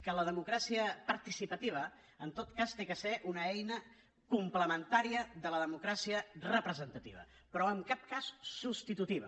que la democràcia participativa en tot cas ha de ser una eina complementària de la democràcia representativa però en cap cas substitutiva